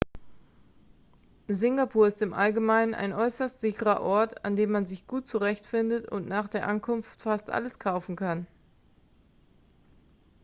singapur ist im allgemeinen ein äußerst sicherer ort an dem man sich gut zurechtfindet und nach der ankunft fast alles kaufen kann